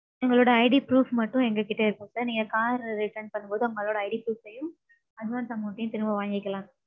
உங்களோட IDproof மட்டும் எங்க கிட்ட இருக்கும் sir. நீங்க car return பன்னும்போது உங்களோட IDproof ம் advance amount ம் திருப்ப வாங்கிக்கலாம்.